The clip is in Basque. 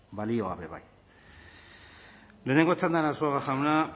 balioa be bai lehenengo txandan arzuaga jauna